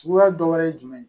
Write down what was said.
Suguya dɔ wɛrɛ ye jumɛn ye